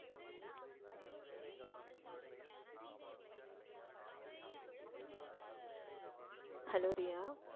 hello Riya